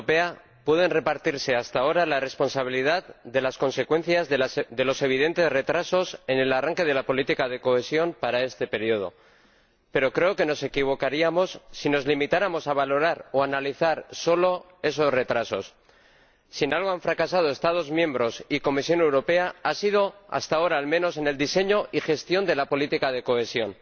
Señor Presidente, los Estados miembros y la Comisión Europea pueden repartirse hasta ahora la responsabilidad de las consecuencias de los evidentes retrasos en el arranque de la política de cohesión para este período, pero creo que nos equivocaríamos si nos limitáramos a valorar o a analizar solo esos retrasos. Si en algo han fracasado los Estados miembros y la Comisión Europea, ha sido —hasta ahora, al menos— en el diseño y gestión de la política de cohesión.